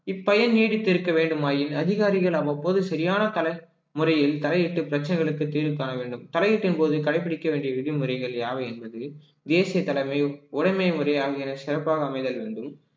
இப்பயன் நீடித்திருக்க வேண்டுமாயின் அதிகாரிகள் அவ்வப்போது சரியான தல~ முறையில் தலையிட்டு பிரச்சனைகளுக்கு தீர்வு காண வேண்டும் தலையீட்டின் போது கடைபிடிக்க வேண்டிய விதிமுறைகள் யாவை என்பது தேசிய தலைமையும் உடமை முறையாகியான சிறப்பாக அமைதல் வேண்டும்